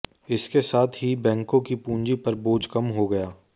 इसके साथ ही बैंकों की पूंजी पर बोझ कम हो गया